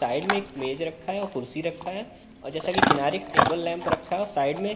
Side में एक मेज रखा है और कुर्सी रखा है और जैसा कि किनारे एक टेबल लैंप रखा है और साइड में।